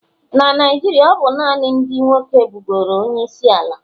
Na Naijiria, ọ bụ naanị ndị nwoke bụgoro onyeisiala